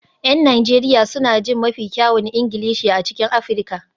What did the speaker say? Yan Najeriya suna jin mafi kyawun Ingilishi a cikin Afirka